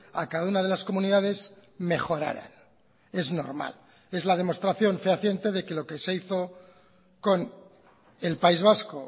a cada una de las comunidades mejoraran es normal es la demostración fehaciente de que lo que se hizo con el país vasco